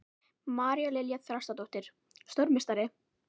María Lilja Þrastardóttir: Stórmeistari?